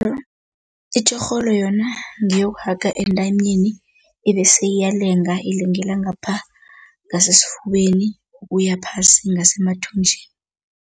Itjorholo yona ngiyokuhaga entanyeni ibese iyalenga, ilengela ngapha ngasesifubeni, kuya phasi ngasemathunjini.